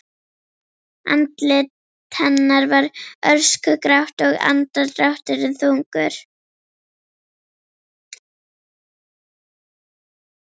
Andlit hennar var öskugrátt og andardrátturinn þungur.